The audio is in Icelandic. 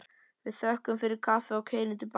Við þökkum fyrir kaffið og keyrum til baka.